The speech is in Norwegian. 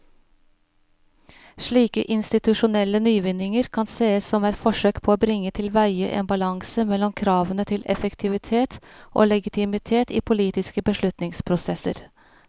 Slike institusjonelle nyvinninger kan sees som forsøk på å bringe tilveie en balanse mellom kravene til effektivitet og legitimitet i politiske beslutningsprosesser.